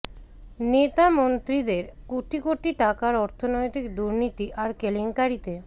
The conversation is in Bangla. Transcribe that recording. নেতা মন্ত্রীদের কোটি কোটি টাকার অর্থনৈতিক দুর্নীতি আর কেলেঙ্কারিতে